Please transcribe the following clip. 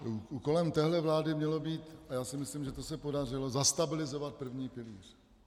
Úkolem téhle vlády mělo být, a já si myslím, že se to podařilo, zastabilizovat první pilíř.